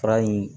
Fura in